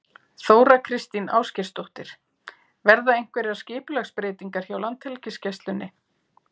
Þóra Kristín Ásgeirsdóttir: Verða einhverjar skipulagsbreytingar hjá Landhelgisgæslunni?